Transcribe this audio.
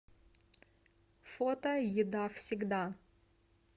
фото еда всегда